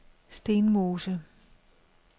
Stenmose